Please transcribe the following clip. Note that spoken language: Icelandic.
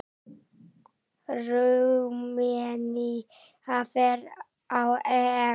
Rúmenía fer á EM.